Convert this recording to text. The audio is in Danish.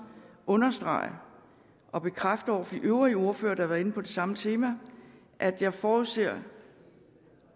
understrege og bekræfte over for de øvrige ordførere der har været inde på det samme tema at jeg forudser